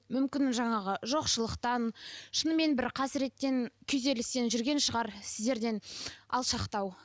мүмкін жаңағы жоқшылықтан шынымен бір қасіреттен күйзелістен жүрген шығар сіздерден алшақтау